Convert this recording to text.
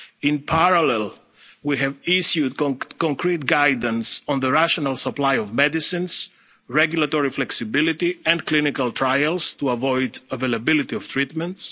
production. In parallel, we have issued concrete guidance on the rational supply of medicines, regulatory flexibility and clinical trials to avoid unavailability of